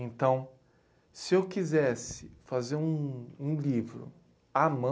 Então, se eu quisesse fazer um um livro à mão,